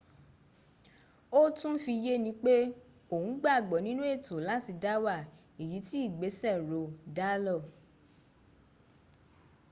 ó tún fi yé ni pé òun gbàgbọ́ ninú ẹ̀tọ́ láti dáwà èyí tí ìgbésẹ̀ roe dálór